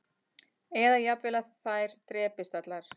Eða jafnvel að þær drepist allar